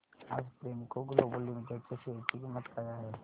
आज Premco global limited च्या share ची किंमत काय आहे